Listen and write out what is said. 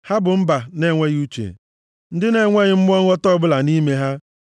Ha bụ mba na-enweghị uche, ndị na-enweghị mmụọ nghọta ọbụla nʼime ha.